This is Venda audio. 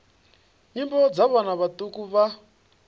nyimbo dza vhana vhaṱuku vha